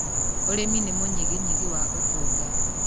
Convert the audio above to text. ũrĩmi nĩ mũnyiginyigi wa ũtonga.